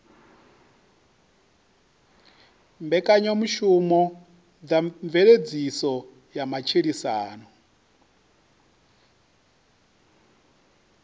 mbekanyamushumo dza mveledziso ya matshilisano